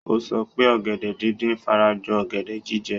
Ó sọ pé ọ̀gẹ̀dẹ̀ díndín fara jọ ọ̀gẹ̀dẹ̀ jíjẹ.